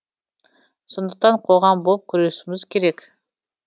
сондықтан қоғам болып күресуіміз керек